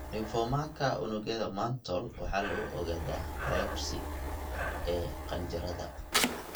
Lymphomaka unugyada mantle waxaa lagu ogaadaa biopsy (ka saarida qaliinka) ee qanjidhada.